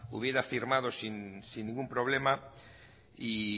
hubiera firmado sin ningún problema y